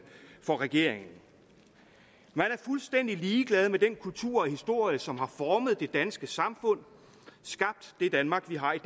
for regeringen man er fuldstændig ligeglad med den kultur og historie som har formet det danske samfund skabt det danmark vi har i